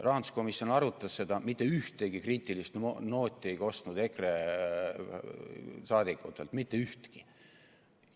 Rahanduskomisjon arutas seda, mitte ühtegi kriitilist nooti ei kostnud EKRE-lt, mitte ühtegi.